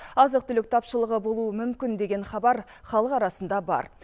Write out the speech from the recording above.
азық түлік тапшылығы болуы мүмкін деген хабар халық арасында бар